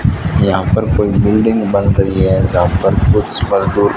यहां पर कोई बिल्डिंग बन रही है जहां पर कुछ मजदूर--